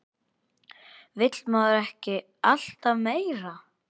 Vill maður ekki alltaf meira?